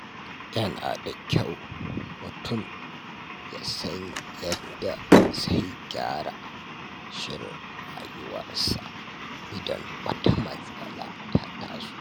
Yana da kyau mutum ya san yadda zai gyara shirin rayuwarsa idan wata matsala ta taso.